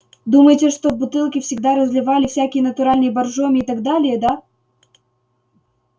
думаете что в бутылки всегда разливали всякие натуральные боржоми и так далее да